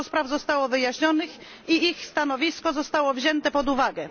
Dużo spraw zostało wyjaśnionych i ich stanowisko zostało wzięte pod uwagę.